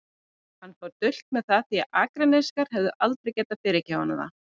Hann fór dult með það því að Akurnesingar hefðu aldrei getað fyrirgefið honum það.